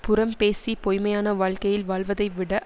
புறம் பேசிப் பொய்ம்மையான வாழ்க்கையில் வாழ்வதைவிட